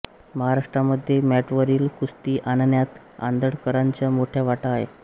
महाराष्ट्रामध्ये मॅटवरील कुस्ती आणण्यात आंदळकरांचा मोठा वाटा आहे